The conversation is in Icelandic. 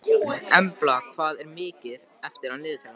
Embla, hvað er mikið eftir af niðurteljaranum?